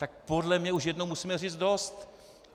Tak podle mě už jednou musíme říct dost!